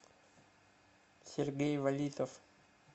сергей валитов